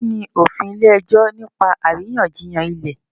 Kini òfin ile-ẹjọ nipa àríyànjiyàn ilẹ?